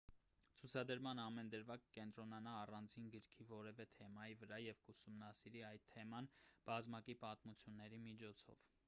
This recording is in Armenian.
ցուցադրման ամեն դրվագ կկենտրոնանա առանձին գրքի որևէ թեմայի վրա և կուսումնասիրի այդ թեման բազմակի պատմությունների միջոցով